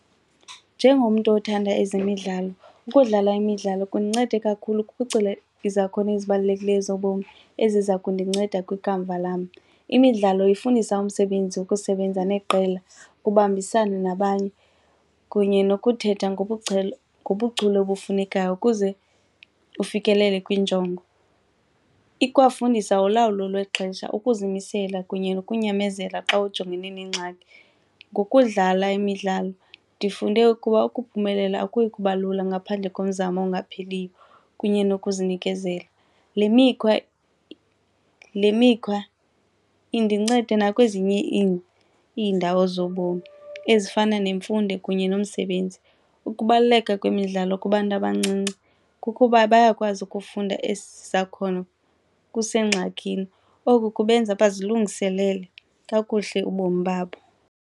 Njengomntu othanda ezemidlalo, ukudlala imidlalo kundincede kakhulu kuphucula izakhono ezibalulekileyo zobomi eziza kundinceda kwikamva lam. Imidlalo ifundisa umsebenzi, ukusebenza neqela, ukubambisana nabanye kunye nokuthetha ngobuchule ubufunekayo ukuze kufikelele kwiinjongo. Ikwafundisa ulawulo lwexesha, ukuzimisela kunye nokunyamezela xa ujongene neengxaki. Ngokudlala imidlalo ndifunde ukuba ukuphumelela akuyi kuba lula ngaphandle komzamo ongaphieiyo kunye nokuzinikezela. Le mikhwa le mikhwa indincede nakwezinye iindawo zobomi ezifana nemfundo kunye nomsebenzi. Ukubaluleka kwemidlalo kubantu abancinci kukuba bayakwazi ukufunda esi sakhono kusengxakini, oku kubenza bazilungiselele kakuhle ubomi babo.